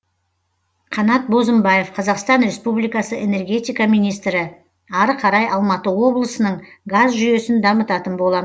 қанат бозымбаев қазақстан республикасы энергетика министрі ары қарай алматы облысының газ жүйесін дамытатын болам